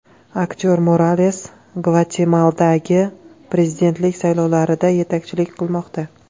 Aktyor Morales Gvatemaladagi prezidentlik saylovlarida yetakchilik qilmoqda.